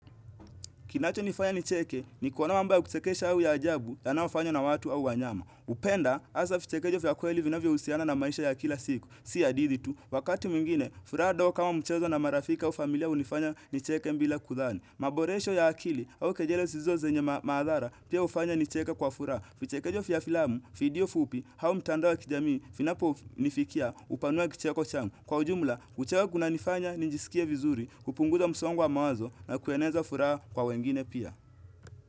Kinacho nifanya nicheke ni kuona mambo kuchekesha au ya ajabu yanaofanywa na watu au wanyama. Upenda, asavichekesho vya kweli vinavyo husiana na maisha ya kila siku. Sia hadhiti tu, wakati mwingine, furaha ndogo kama mchezo na marafiki au familia unifanya nicheke bila kudhani. Maboresho ya akili au kejele sizo zenye maadhara pia ufanya nicheke kwa furaha. Vichekejo vya filamu, video fupi, au mtandao wa kijamii, vinapo nifikia upanua kicheko changu. Kwa ujumla, kucheka kunanifanya ninjisikie vizuri, kupungunguza msongo wa mawazo na kueneza furaha kwa wengine pia.